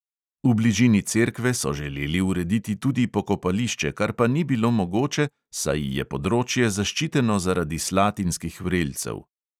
V bližini cerkve so želeli urediti tudi pokopališče, kar pa ni bilo mogoče, saj je področje zaščiteno zaradi slatinskih vrelcev.